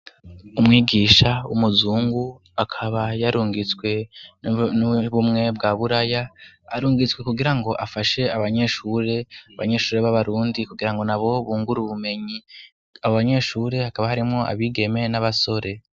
Umwigisha w'umuzungu akaba yarungitswe n'ubumwe bwa buraya arungitswe kugira ngo afashe abanyeshure, abanyeshure b'abarundi kugirango nabo bungure ubumenyi, abanyeshure hakaba harimwo abigeme n'abasore.